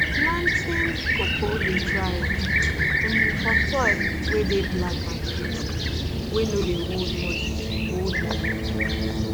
planting cocoa dey thrive um for soil wey dey black and gritty wey no dey hold much hold much water